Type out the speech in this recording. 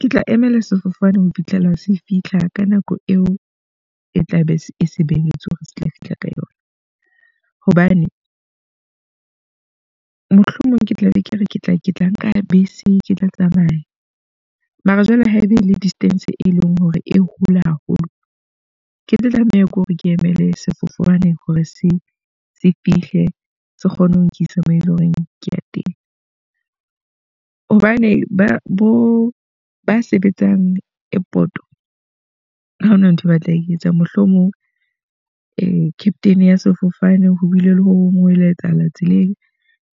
Ke tla emela sefofane ho fitlhela se fitlha ka nako eo e tla be se sebetswe hore se tla fihla ka yona. Hobane mohlomong ke tla be ke re ke tla ke tla nka bese ke tla tsamaya. Mara jwale haeba e le distance e leng hore e hole haholo, ke tlo tlameha ke hore ke emele sefofane hore se se fihle se kgone ho nkisa moo eleng horeng ko teng. Hobane ba bo ba sebetsang airport ha hona nthwe ba tla e etsang. Mohlomong captain ya sefofane ho bile le ho hong ho ileng ha etsahala tseleng,